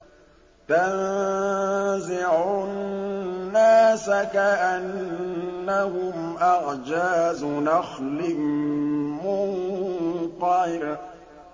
تَنزِعُ النَّاسَ كَأَنَّهُمْ أَعْجَازُ نَخْلٍ مُّنقَعِرٍ